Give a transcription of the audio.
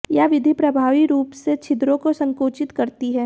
यह विधि प्रभावी रूप से छिद्रों को संकुचित करती है